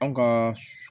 An ka